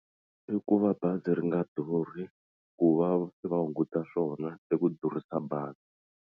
I ku va bazi ri nga durhi ku va va hunguta swona i ku durhisa bazi.